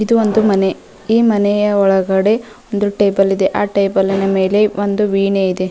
ಇದು ಒಂದು ಮನೆ ಈ ಮನೆಯ ಒಳಗಡೆ ಒಂದು ಟೇಬಲ್ ಆ ಟೇಬಲ್ ಮೇಲೆ ಒಂದು ವೀಣೆ ಇದೆ.